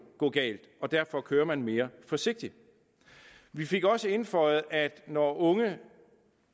gå galt og derfor kører man mere forsigtigt vi fik også indføjet at det når unge